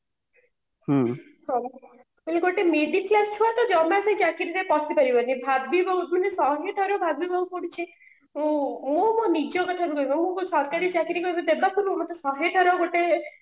ସେଇ ଗୋଟେ middle class ଛୁଆଟେ ଜମାବି ଚାକିରିରେ ପଶି ପାରିବନି ଭାବିବ ଶହେ ଥର ଭାବିବାକୁ ପଡୁଛି ଉଁ ଉଁ ମୋ ନିଜ କଥା କହୁନି ସରକାରୀ ଚାକିରିକୁ ଦେବା ପାଇଁ ମତେ ଶହେ ଥର ଗୋଟେ